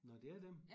Nåh det er dem